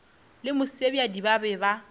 le mosebjadi ba be ba